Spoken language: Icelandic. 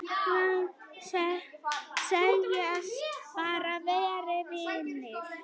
Segjast bara vera vinir